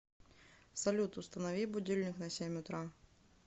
салют установи будильник на семь утра